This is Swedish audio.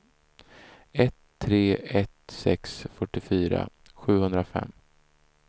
ett tre ett sex fyrtiofyra sjuhundrafem